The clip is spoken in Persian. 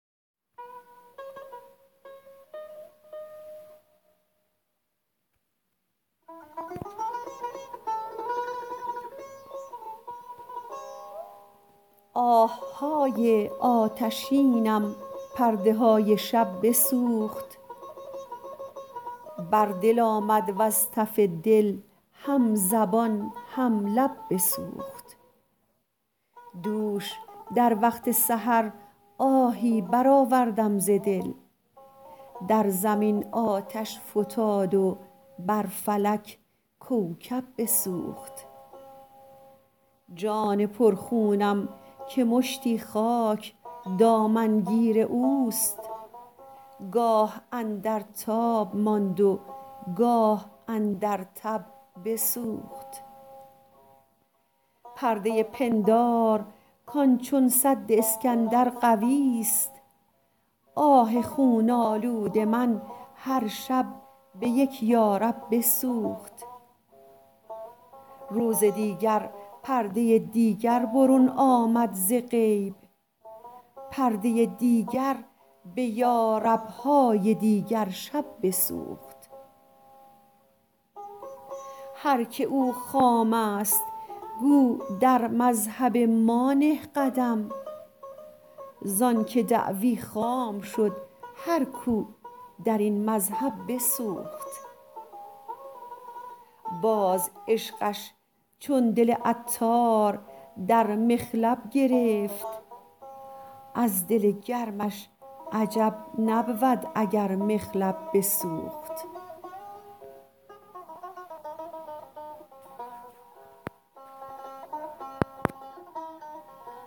آه های آتشینم پرده های شب بسوخت بر دل آمد وز تف دل هم زبان هم لب بسوخت دوش در وقت سحر آهی برآوردم ز دل در زمین آتش فتاد و بر فلک کوکب بسوخت جان پر خونم که مشتی خاک دامن گیر اوست گاه اندر تاب ماند و گاه اندر تب بسوخت پرده پندار کان چون سد اسکندر قوی است آه خون آلود من هر شب به یک یارب بسوخت روز دیگر پرده دیگر برون آمد ز غیب پرده دیگر به یارب های دیگرشب بسوخت هر که او خام است گو در مذهب ما نه قدم زانکه دعوی خام شد هر کو درین مذهب بسوخت باز عشقش چون دل عطار در مخلب گرفت از دل گرمش عجب نبود اگر مخلب بسوخت